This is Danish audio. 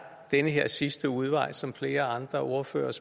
den her sidste udvej som flere af ordførerne